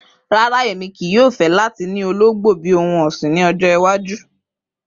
Rara, Emi kii yoo fẹ lati ni ologbo bi ohun ọsin ni ọjọ iwaju.